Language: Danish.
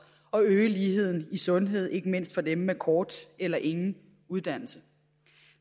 at øge ligheden i sundhed ikke mindst for dem med kort eller ingen uddannelse